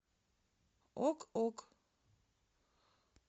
ок ок